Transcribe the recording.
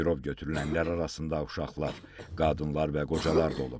Girov götürülənlər arasında uşaqlar, qadınlar və qocalar da olub.